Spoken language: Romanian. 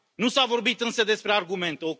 Nu s a vorbit însă despre argumente.